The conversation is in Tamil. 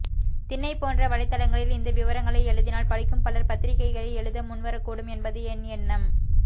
திண்னை போன்ற வலை தளங்களில் இந்த விவரங்களை எழுதினால் படிக்கும் பலர் பத்திரிக்கைகளில் எழுத முன்வரக்கூடும் என்பது என் எண்ணம்